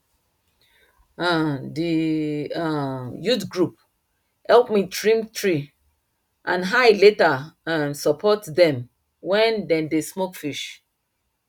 um d um youth group help me trim tree and i later um support dem when dem dey smoke fish